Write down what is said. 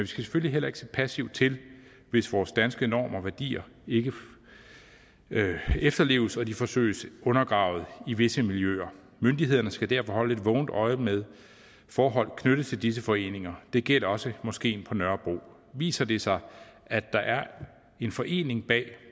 skal selvfølgelig heller ikke se passivt til hvis vores danske normer og værdier ikke efterleves og de forsøges undergravet i visse miljøer myndighederne skal derfor holde et vågent øje med forhold knyttet til disse foreninger det gælder også moskeen på nørrebro viser det sig at der er en forening bag